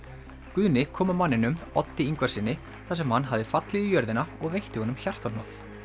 Guðni kom að manninum Oddi Ingvarssyni þar sem hann hafði fallið í jörðina og veitti honum hjartahnoð